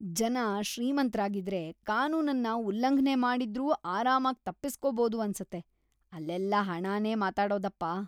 ಜನ ಶ್ರೀಮಂತ್ರಾಗಿದ್ರೆ ಕಾನೂನನ್ನ ಉಲ್ಲಂಘ್ನೆ ಮಾಡಿದ್ರೂ ಆರಾಮಾಗ್ ತಪ್ಪಿಸ್ಕೋಬೋದು ಅನ್ಸತ್ತೆ, ಅಲ್ಲೆಲ್ಲ ಹಣನೇ ಮಾತಾಡೋದಪ್ಪ!